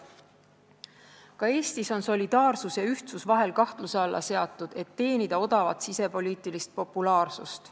Ka Eestis on solidaarsus ja ühtsus vahel kahtluse alla seatud, et teenida odavat sisepoliitilist populaarsust.